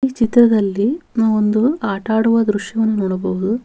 ಈ ಚಿತ್ರದಲ್ಲಿ ನಾವೊಂದು ಆಟಾಡುವ ದೃಶ್ಯವನ್ನು ನೋಡಬಹುದು.